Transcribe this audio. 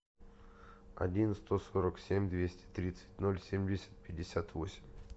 один сто сорок семь двести тридцать ноль семьдесят пятьдесят восемь